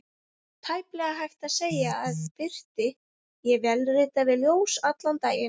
Tæplega hægt að segja að birti: ég vélrita við ljós allan daginn.